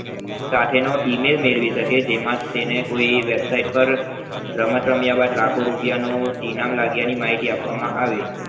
સાથે નો email મેળવી શકે જેમાં તેને કોઈ website પર રમત રમ્યા બાદ કોઈ લાખો રૂપિયા નું ઇનામ લાગ્માયાનું માંહિતી આપવામાં આવે